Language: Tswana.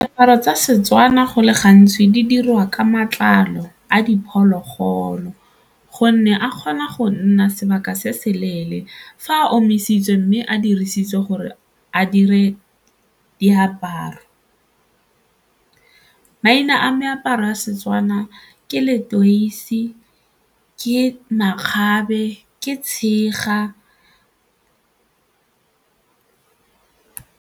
Diaparo tsa setswana go le gantsi di dirwa ka matlalo a diphologolo gonne a kgona go nna sebaka se se leele fa a a omisitswe mme a dirisitswe gore a dire diaparo. Maina a meaparo ya Setswana ke letoisi, ke makgabe, ke tshega.